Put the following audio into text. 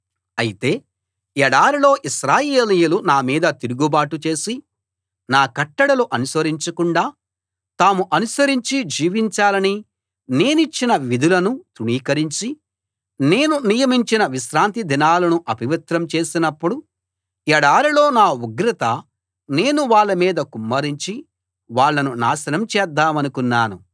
అయితే ఎడారిలో ఇశ్రాయేలీయులు నామీద తిరుగుబాటు చేసి నా కట్టడలు అనుసరించకుండా తాము అనుసరించి జీవించాలని నేనిచ్చిన విధులను తృణీకరించి నేను నియమించిన విశ్రాంతి దినాలను అపవిత్రం చేసినప్పుడు ఎడారిలో నా ఉగ్రత నేను వాళ్ళ మీద కుమ్మరించి వాళ్ళను నాశనం చేద్దామనుకున్నాను